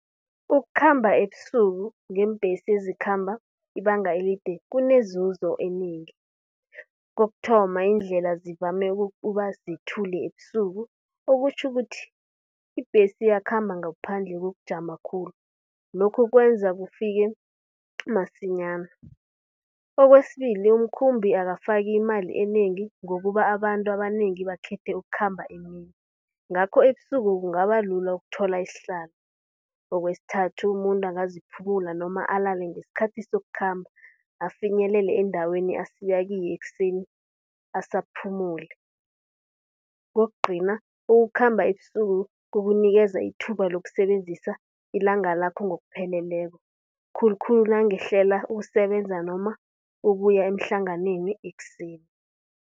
Ukukhamba ebusuku ngeembesi ezikhamba ibanga elide kunezuzo enengi. Kokuthoma, iindlela zivame uba zithule ebusuku. Okutjho ukuthi ibhesi iyakhamba ngaphandle kokukujama khulu, lokhu kwenza kufike masinyana. Kwesibili, umkhambi akafaki imali enengi ngokuba abantu abanengi bakhethe ukukhamba emini. Ngakho ebusuku kungaba lula ukuthola isihlalo. Kwesithathu, umuntu angaziphumuza noma alale ngesikhathi sokukhamba afinyelele endaweni asiya kiyo ekuseni asaphumule. Kokugcina, ukukhamba ebusuku kukunikela ithuba lokusebenzisa ilanga lakho ngokupheleleko, khulukhulu nangihlela ukusebenza noma ukuya emhlanganweni ekuseni.